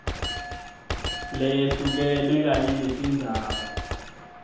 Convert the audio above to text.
leyehlukene kanye netindzaba